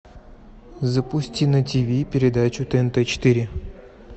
запусти на тиви передачу тнт четыре